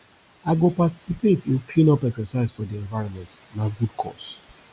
i go participate in cleanup exercise for di environment na good cause